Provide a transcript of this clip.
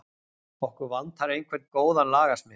Okkur vantar einhvern góðan lagasmið.